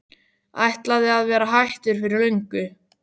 Ætlaði að vera hættur fyrir löngu.